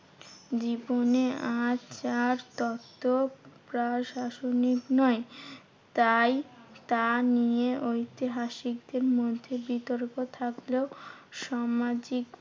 জীবনে আজ আর তত প্রাসঙ্গিক নয়। তাই তা নিয়ে ঐতিহাসিকদেড় মধ্যে বিতর্ক থাকলেও সামাজিক